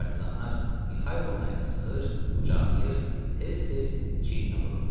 Partizanlar Mixailonun əlini sıxır, qucaqlayır, tez-tez çiyininə vururdular.